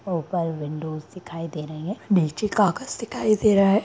ऊपर विंडोस दिखाई दे रही हैं नीचे कागज़ दिखाई दे रहा है।